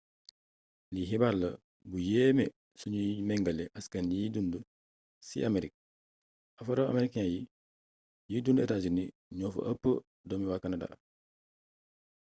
lii xibaar la bu yéeme su ñuy méngale askan yiñ dundu ci amerique afro-americain yiy dundu états-unis ñoo fa ëpp doomi waa canada